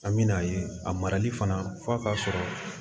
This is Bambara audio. An bɛ n'a ye a marali fana f'a ka sɔrɔ